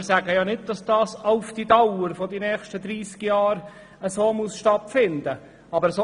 Wir sagen nicht, dass das mit «auf Dauer» während der nächsten 30 Jahre so stattfinden muss.